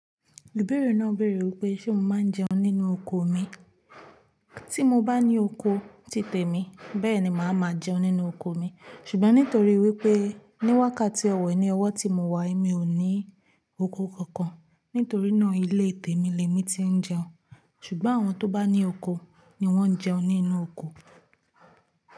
Ibẹ́ẹrẹ náà béèrè wípé ṣé mo máa ń jẹun nínú oko mi. Tí mo bá ní oko tí tèmi bẹ́ẹ̀ni màá máa jẹun nínú oko mi. Ṣùgbọ́n nítorí wípé ní wákàtí ọ̀wọ̀n yìí, ọwọ́ tí mo wà, mi ò ní oko kankan. Nítorí náà ilé ìtẹ́mi le mi tí ń jẹun. Ṣùgbọ́n àwọn tó bá ní oko ni wọ́n ń jẹun nínú oko.